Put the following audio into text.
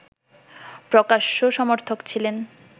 প্রকাশ্য সমর্থক ছিলেন